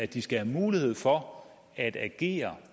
de skal have mulighed for at agere